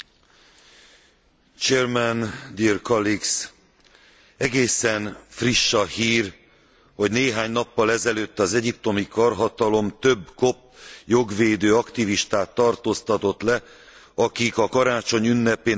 Egészen friss a hír, hogy néhány nappal ezelőtt az egyiptomi karhatalom több kopt jogvédő aktivistát tartóztatott le, akik a karácsony ünnepén Nádzs' Hammádi településen meggyilkolt kopt keresztények